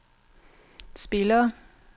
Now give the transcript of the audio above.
spillere